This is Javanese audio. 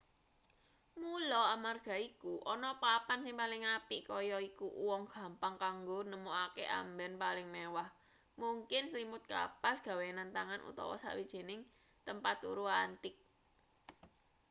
mula amarga iku ana papan sing paling apik kaya iku uwong gampang kanggo nemokake amben paling mewah mungkin slimut kapas gawenan tangan utawa sawijining tempat turu antik